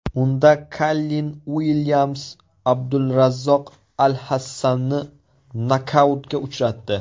Unda Kallin Uilyams Abdulrazzoq Alhassanni nokautga uchratdi.